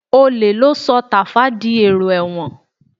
Olè ló sọ Tàfá di èrò ẹ̀wọ̀n